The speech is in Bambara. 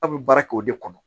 Aw bɛ baara kɛ o de kɔnɔ